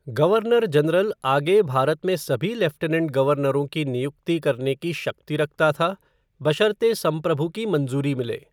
Governor general आगे भारत में सभी लेफ़्टिनेंट गवर्नरों को नियुक्त करने की शक्ति रखता था, बशर्ते संप्रभु की मंजूरी मिले।